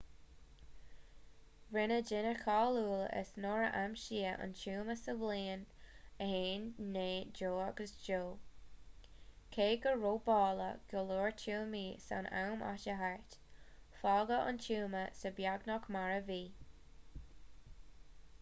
rinneadh duine cáiliúil as nuair a aimsíodh an tuama sa bhliain 1922 cé gur robáladh go leor tuamaí san am atá thart fágadh an tuama seo beagnach mar a bhí